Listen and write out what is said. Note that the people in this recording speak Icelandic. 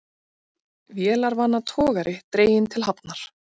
Vélarvana togari dreginn til hafnar